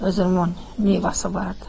Özünün neçəsi vardı.